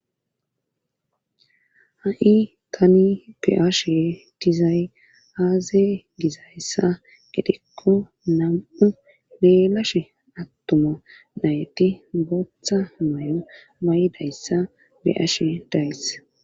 ha7i tani be'ashe dizay aaze gizayssa gidikko nam7u leelashe attuma nayti booththa may7o mayidayssa be'ashe days